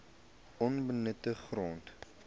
onbenutte grond